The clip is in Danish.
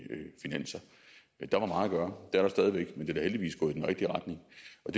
finanser der var meget at gøre det er der stadig væk men det er da heldigvis gået i den rigtige retning